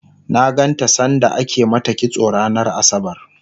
na ganta sanda ake mata kitso ranar asabar